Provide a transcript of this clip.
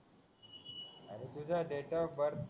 तुझा date of birth